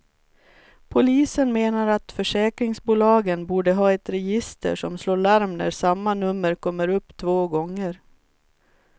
Polisen menar att försäkringsbolagen borde ha ett register som slår larm när samma nummer kommer upp två gånger.